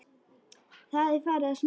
Það er farið að snjóa.